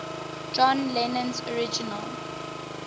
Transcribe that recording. john lennon's original